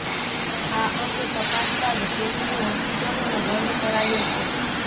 આ અંગે તપાસ બાદ કેટલીય હોસ્પિટલોને દંડ કરાયો છે